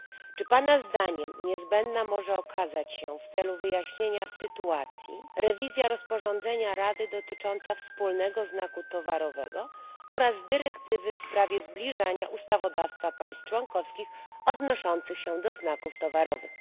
Czy pana zdaniem niezbędna może okazać się w celu wyjaśnienia sytuacji rewizja rozporządzenia Rady dotyczącego wspólnego znaku towarowego oraz dyrektywy w sprawie zbliżania ustawodawstw państw członkowskich odnoszących się do znaków towarowych?